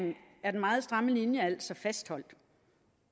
er den meget stramme linje altså fastholdt